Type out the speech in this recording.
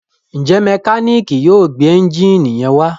njé Mẹkáníìkì yóò gbé Ẹ́ńjìnì yén wá?